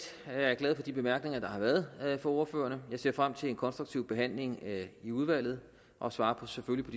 er jeg glad for de bemærkninger der har været fra ordførerne jeg ser frem til en konstruktiv behandling i udvalget og svarer selvfølgelig